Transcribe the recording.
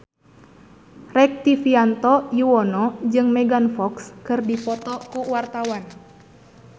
Rektivianto Yoewono jeung Megan Fox keur dipoto ku wartawan